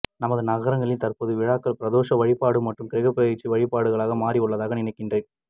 நமது நகரங்களில் தற்பொழுது திருவிழாக்கள் பிரதோஷ வழிபாடு மற்றும் கிரக பெயர்ச்சி வழிபாடுகளாக மாறியிருப்பதாக நினைக்கிறன்